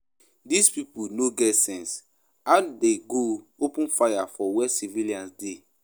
Dis people no get sense, how dey go open fire for where civilians dey